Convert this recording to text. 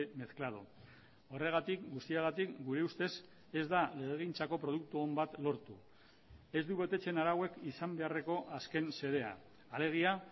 mezclado horregatik guztiagatik gure ustez ez da legegintzako produktu on bat lortu ez du betetzen arauek izan beharreko azken xedea alegia